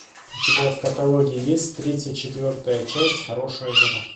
у тебя в каталоге есть тридцать четвертая часть хорошая жена